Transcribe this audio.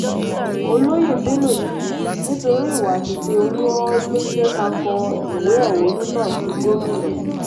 olóyè bello ní nítorí ìwà àti ìṣe olú́ọ́ọ́ ló jẹ́ ká kó ìwé ẹ̀hónú náà sí gómìnà